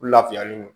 U lafiyalen don